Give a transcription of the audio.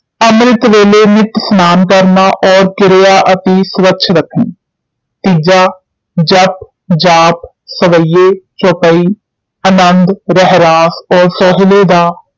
ਅੰਮ੍ਰਿਤ ਵੇਲੇ ਨਿਤ ਸਨਾਨ ਕਰਨਾ, ਔਰ ਗਿਆ ਅਤੀ ਸੂਫ਼ ਰੱਖਣੀ ਤੀਜਾ ਜਪੁ, ਜਾਪੁ, ਸਵਯੇ, ਚੌਪਈ, ਅਨੰਦੁ, ਰਹਿਰਾਸ ਔਰ ਸੋਹਿਲੇ ਦਾ